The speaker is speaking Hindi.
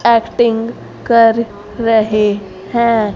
कटिंग कर रहे है।